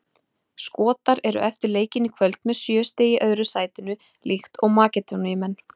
Skotar eru eftir leikinn í kvöld með sjö stig í öðru sætinu líkt og Makedóníumenn.